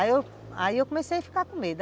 Aí eu comecei a ficar com medo.